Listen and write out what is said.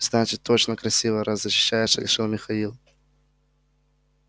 значит точно красивая раз защищаешь решил михаил